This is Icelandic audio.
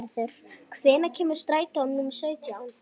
Þorgerður, hvenær kemur strætó númer sautján?